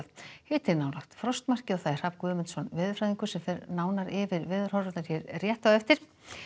hiti nálægt frostmarki Hrafn Guðmundsson veðurfræðingur fer nánar yfir veðurhorfurnar hér rétt á eftir